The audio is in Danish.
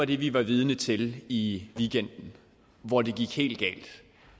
det vi var vidne til i weekenden hvor det gik helt galt